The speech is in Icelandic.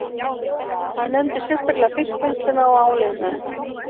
Hann nefndi sérstaklega fiskvinnsluna og áliðnaðinn